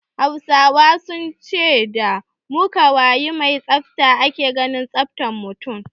Hausawa sun ce da makawayi mai tsafta ake gane tsaftan mutun